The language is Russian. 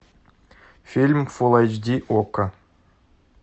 фильм фул айч ди окко